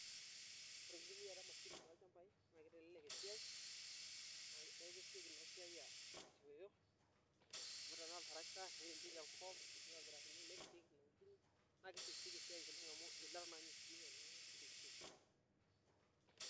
Oore enitumiata emashini tolchambai naa keiteleelk esiai amuu kesioki iina siai asioyo, amuu tenaa oltractor neiremieki enkop, naa kesioki sioki esiai.